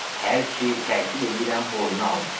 Hər ki təkid eləyirəm boynuna almır.